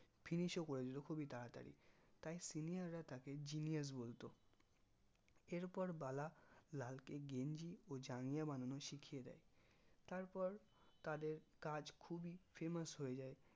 finish ও করে দিতো খুবি তাড়াতাড়ি তাই senior রা তাকে genius বলতো এরপর বালা লালকে গেঞ্জি ও জাঙ্গিয়া বানানো শিকিয়ে দেয় তারপর তাদের কাজ খুবি famous হয়ে যাই